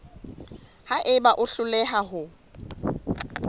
ha eba o hloleha ho